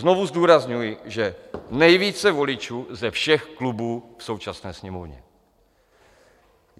Znovu zdůrazňuji, že nejvíce voličů ze všech klubů v současné Sněmovně.